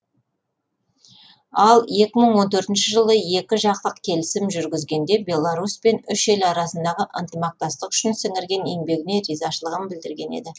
ал екі мың он төртінші жылы екі жақтық келісім жүргізгенде беларусьпен үш ел арасындағы ынтымақтастық үшін сіңірген еңбегіне ризашылығын білдірген еді